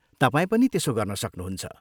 तपाईँ पनि त्यसो गर्न सक्नुहुन्छ।